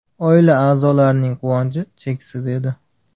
Oila a’zolarining quvonchi cheksiz edi.